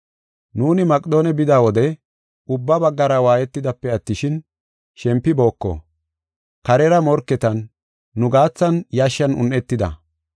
Nuuni Maqedoone bida wode, ubba baggara waayetidaape attishin shempibooko. Karera morketan, nu gaathan yashshan un7etida.